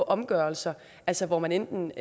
omgørelser altså hvor man enten